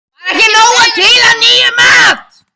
Var ekki nóg til af nýjum mat?